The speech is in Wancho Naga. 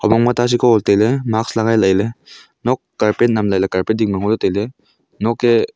mong ma ta Seko tailey mask lagai leley nok carpet nam lahley carpet dingma ngoley tailey noke--